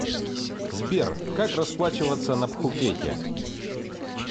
сбер как расплачиваться на пхукете